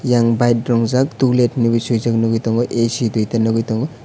eyang bike rongjak tolet hinui suijak nogoi tongo ac duita nogoi tongo.